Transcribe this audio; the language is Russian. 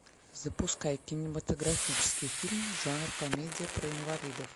запускай кинематографический фильм жанр комедия про инвалидов